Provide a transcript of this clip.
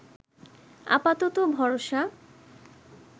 আপাতত ভরসা